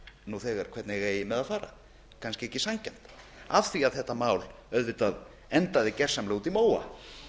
nú þegar hvernig eigi með að fara kannski ekki sanngjarnt af því þetta mál auðvitað endaði gersamlega úti í móa